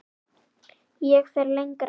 Ég fer lengra.